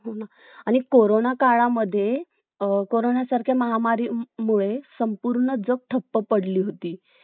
किव्वा redmi किव्वा OnePlus घ्यायचं हाय कोणतं घ्यायचं आहे का सॅमसंग घ्यायचं आहे मग त्या हिशोबाने आपण आपलं निश्चय करून जाऊ direct का आपल्याला हाच घ्यायचा बौ